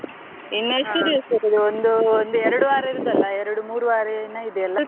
ಒಂದು ಒಂದ್ ಎರಡು ವಾರ ಇರುದಲ್ಲ ಎರಡು ಮೂರು ವಾರ ಏನೋ ಇದೆ ಅಲ್ಲ.